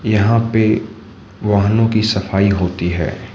यहां पे वाहनों की सफाई होती है।